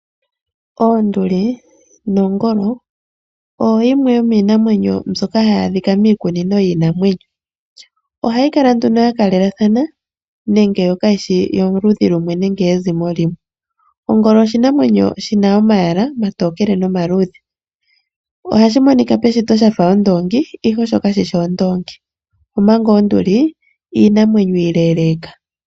Oonduli noongolo ohayi adhika miikunino yiinamwenyo. Ohayi kala ya kalelathana nande kayishi yoludhi nenge yezimo limwe. Ongolo peshito ohayi monika yafa omndoongi ihe kayishi ondoobgi omanga induli oshinanwenyo oshileleeka.